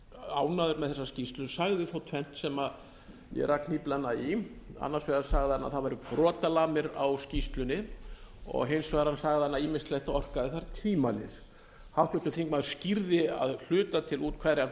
ánægður með þessa skýrslu en sagði þó tvennt sem ég rak hnýflana í annars vegar sagði hann að það væru brotalamir á skýrslunni og hins vegar sagði að ýmislegt orkaði þar tvímælis háttvirtur þingmaður skýrði að hluta til út hverjar